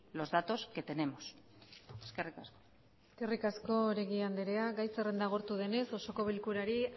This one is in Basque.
los datos que tenemos eskerrik asko eskerrik asko oregi andrea gai zerrenda agortu denez osoko bilkurari